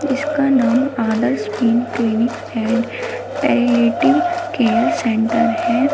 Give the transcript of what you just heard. जिसका नाम Adarsh pain clinic and palliative care centre है।